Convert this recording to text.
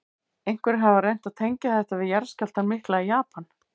Einhverjir hafa reynt að tengja þetta við jarðskjálftann mikla í Japan.